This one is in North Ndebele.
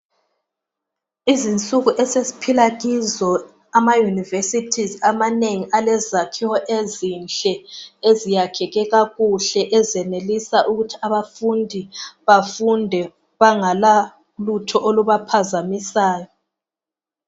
Izinsuku esesiphila kizo amayunivesithizi amanengi. Alezakhiwo ezinhle eziyakhiwe kakuhle .Ezenelisa ukuthi abafundi bafunde banganalutho olubaphazamisayo.